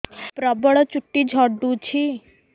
ପ୍ରବଳ ଚୁଟି ଝଡୁଛି